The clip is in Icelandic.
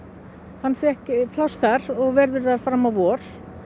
hann fékk pláss þar og verður þar fram á vor